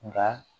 Nka